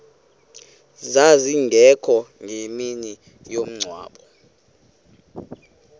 zazingekho ngemini yomngcwabo